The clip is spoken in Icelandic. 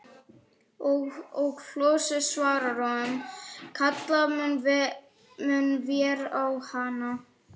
Og Flosi svarar honum: Kalla munum vér á hana.